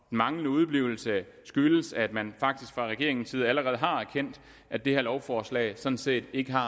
manglende udeblivelse skyldes at man faktisk fra regeringens side allerede har erkendt at det her lovforslag sådan set ikke har